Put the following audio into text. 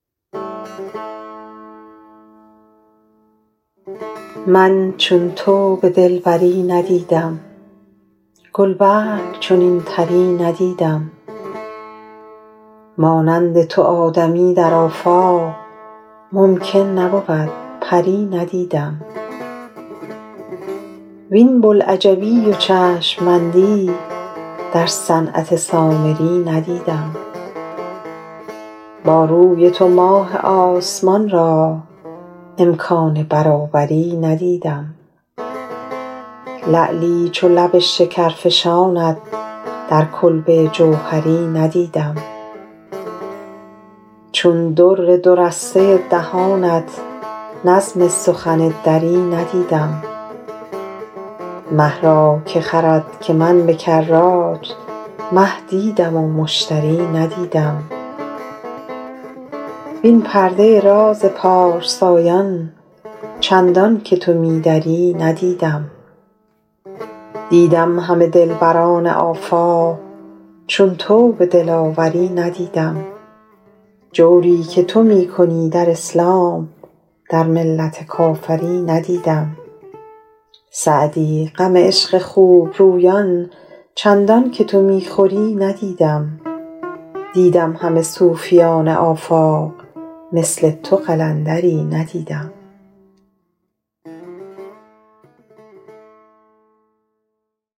من چون تو به دلبری ندیدم گل برگ چنین طری ندیدم مانند تو آدمی در آفاق ممکن نبود پری ندیدم وین بوالعجبی و چشم بندی در صنعت سامری ندیدم با روی تو ماه آسمان را امکان برابری ندیدم لعلی چو لب شکرفشانت در کلبه جوهری ندیدم چون در دو رسته دهانت نظم سخن دری ندیدم مه را که خرد که من به کرات مه دیدم و مشتری ندیدم وین پرده راز پارسایان چندان که تو می دری ندیدم دیدم همه دلبران آفاق چون تو به دلاوری ندیدم جوری که تو می کنی در اسلام در ملت کافری ندیدم سعدی غم عشق خوب رویان چندان که تو می خوری ندیدم دیدم همه صوفیان آفاق مثل تو قلندری ندیدم